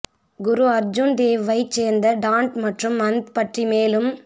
குரு அர்ஜுன் தேவ்வைச் சேர்ந்த டான்ட் மற்றும் மந்த் பற்றி மேலும்